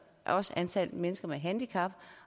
antallet af mennesker med handicap